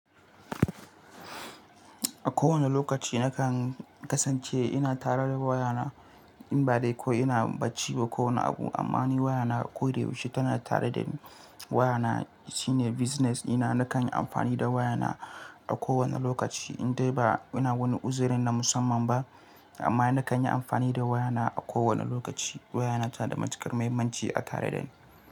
A kowane lokaci na kan kasance ina tare da wayana in ba dai ko ina bacci ba ko wani abu. Amma ni wayana a koyaushe tana tare dani. Wayana shine business dina. Nakan yi amfani da wayana a kowane lokaci indai ba ina wani uzerin na musamman ba. Amma na kan yi amfani da wayana a kowane lokaci. Wayana tana da matukar muhimmanci a tare dani.